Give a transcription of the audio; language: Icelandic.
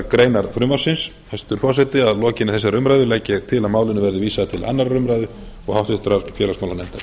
greinar frumvarpsins hæstvirtur forseti að lokinni þessari umræðu legg ég til að málinu verði vísað til annarrar umræðu og háttvirtur félagsmálanefndar